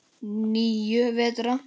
Níu vetra.